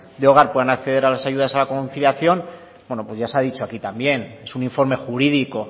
de hogar puedan acceder a las ayudas a la conciliación bueno pues ya se ha dicho aquí también es un informe jurídico